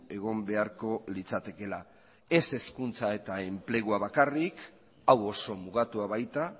egon beharko litzatekeela ez hezkuntza eta enplegua bakarrik hau oso mugatua baita